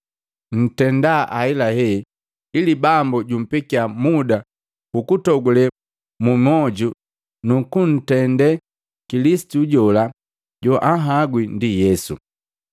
ntenda ahelahe ili Bambu jampekiya muda hukutogulee mumwoju nu kunndetee Kilisitu jola joanhagwi ndi Yesu.